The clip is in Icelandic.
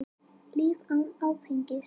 Líf án áfengis.